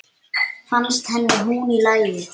Fannst henni hún í lagi?